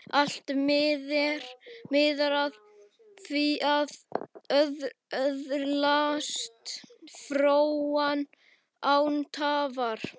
Allt miðar að því að öðlast fróun, án tafar.